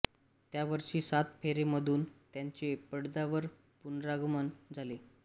त्या वर्षी सात फेरे मधून त्यांचे पडद्यावर पुनरागमन झाले